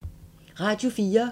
Radio 4